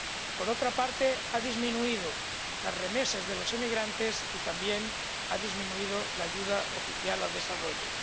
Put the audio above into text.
Por otra parte, han disminuido las remesas de los emigrantes y también se ha reducido la ayuda oficial al desarrollo.